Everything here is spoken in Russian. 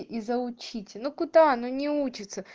и заучите ну куда оно не учится